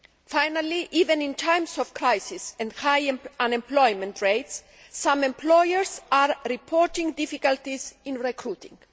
Finally, even in times of crisis and high unemployment rates, some employers are reporting difficulties in recruiting.